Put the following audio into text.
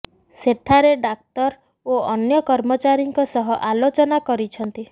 ସେଠାରେ ଡାକ୍ତର ଓ ଅନ୍ୟ କର୍ମଚାରୀଙ୍କ ସହ ଆଲୋଚନା କରିଛନ୍ତି